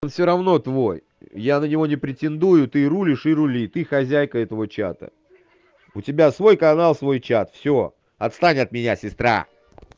всё равно твой я на него не претендую ты рулишь и рули ты хозяйка этого чата у тебя свой канал свой чат всё отстань от меня сестра